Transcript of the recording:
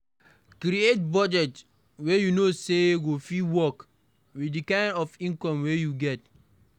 Create budget wey you know say go fit work with the kind of income wey you dey get